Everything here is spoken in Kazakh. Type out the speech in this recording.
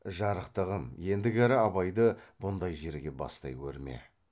жарықтығым ендігәрі абайды бұндай жерге бастай көрме